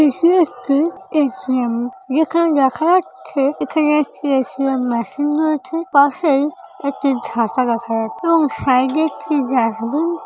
এটি একটি A. T. M যেখানে দেখা যাচ্ছেএখানে একটি এ. টি. এম মেশিন রয়েছে পাশেই একটি ঝাঁটা দেখা যাচ্ছেএবং সাইড -এ একটি ডাসবিন --